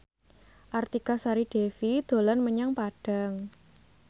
Artika Sari Devi dolan menyang Padang